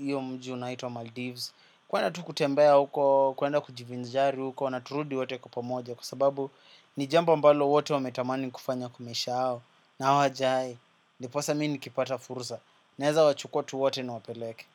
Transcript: iyo mji unaito Maldives kuenda tu kutembea huko, kuenda kujivinjari huko turudi wote kwa upomoja kusa ababu ni jambo mbalo wote wame tamani kufanya kwa maisha ya na hawajai, ndiposa mini kipata furusa neza wachukua ttu wote niwapeleke.